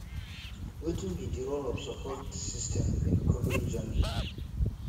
wetin be di role of support system in recovery journey